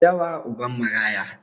Dawa uban maraya